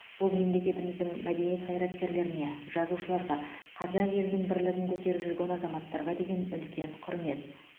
бұл мемлекетіміздің мәдениет қайраткерлеріне жазушыларға қазақ елінің бірлігін көтеріп жүрген азаматтарға деген үлкен құрмет